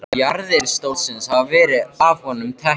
Jarðir stólsins hafa verið af honum teknar.